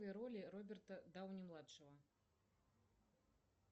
роли роберта дауни младшего